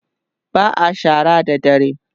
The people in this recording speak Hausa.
ba'a shara da dare